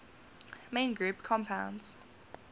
main group compounds